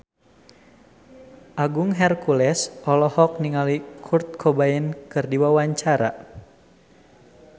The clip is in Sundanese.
Agung Hercules olohok ningali Kurt Cobain keur diwawancara